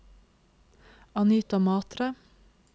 Anita Matre